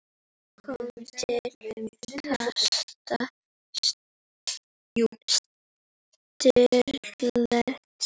kom til kasta Sturlu.